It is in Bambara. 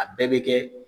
A bɛɛ bɛ kɛ